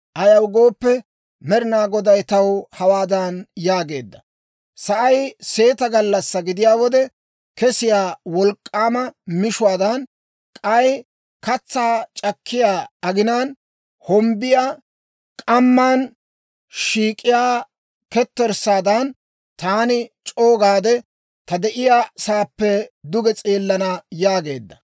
Ayaw gooppe, Med'inaa Goday taw hawaadan yaageedda; «Sa'ay seeta gallassaa gidiyaa wode kesiyaa wolk'k'aama mishuwaadan, k'ay katsaa c'akkiyaa aginaan hombbiyaa k'amman shiik'iyaa ketterssaadan, taani c'o"u gaade, ta de'iyaa sa'aappe duge s'eelana» yaageedda.